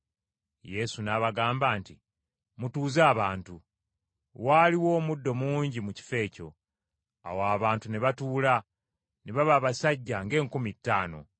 Yesu n’abagamba nti, “Mutuuze abantu.” Waaliwo omuddo mungi mu kifo ekyo. Awo abantu ne batuula, ne baba abasajja ng’enkumi ttaano.